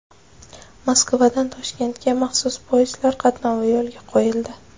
Moskvadan Toshkentga maxsus poyezdlar qatnovi yo‘lga qo‘yildi.